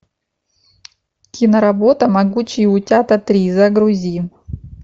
киноработа могучие утята три загрузи